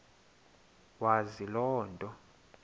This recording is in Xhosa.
wazi loo nto